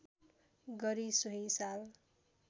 गरी सोही साल